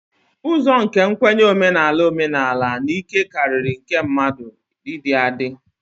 Ụzọ nke nkwenye omenala omenala na ike karịrị nke mmadụ ịdị adị